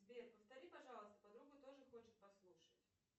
сбер повтори пожалуйста подруга тоже хочет послушать